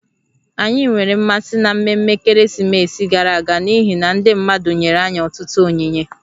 Anyị nwere mmasị n'ememme ekeresimesi gara aga n'ihi na ndị mmadụ nyere anyị ọtụtụ onyinye